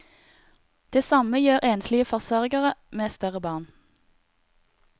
Det samme gjør enslige forsørgere med større barn.